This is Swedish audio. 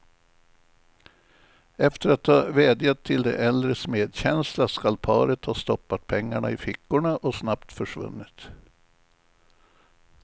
Efter att ha vädjat till de äldres medkänsla skall paret ha stoppat pengarna i fickorna och snabbt försvunnit.